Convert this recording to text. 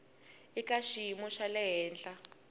eka xiyimo xa le henhla